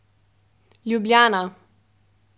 Ljubljana.